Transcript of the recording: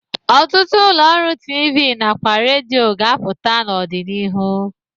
Ọtụtụ ụlọ ọrụ TV na kwa redio ga-apụta n'ọdịnihu.